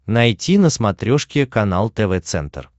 найти на смотрешке канал тв центр